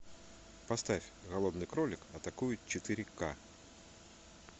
поставь голодный кролик атакует четыре ка